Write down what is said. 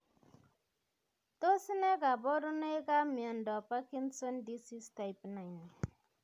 Tos ne kaborunoikab miondop parkinson disease type 9?